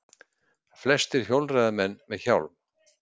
Flestir hjólreiðamenn með hjálm